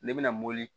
Ne bɛna mobili